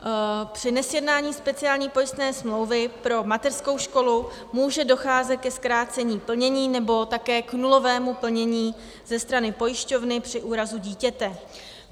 Při nesjednání speciální pojistné smlouvy pro mateřskou školu může docházet ke zkrácení plnění nebo také k nulovému plnění ze strany pojišťovny při úrazu dítěte.